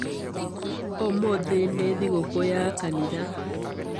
Ũmũthĩ nĩ thigũkũũ ya kanitha.